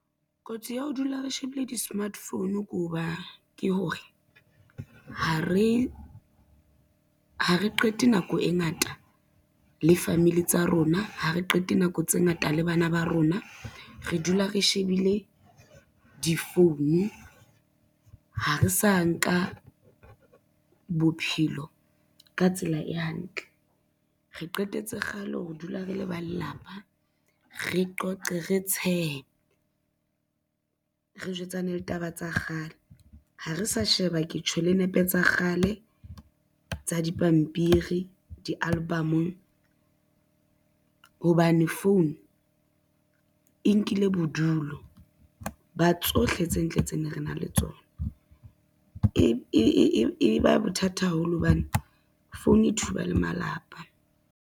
Kotsi ya ho dula re shebile di-smart phone ke hore ha re qete nako e ngata le family tsa rona, ha re qete nako tse ngata le bana ba rona, re dula re shebile difounu, ha re sa nka bophelo ka tsela e hantle. Re qetetse kgale ho re dula re le ba lelapa, re qoqe, re tshehe, re jwetsana le taba tsa kgale, ha re sa sheba ke tjho le nepe tsa kgale tsa dipampiri di-album-ong, hobane phone e nkile bodulo ba tsohle tse ntle tse ne re na le tsona, e ba bothata haholo hobane phone e thuba le malapa.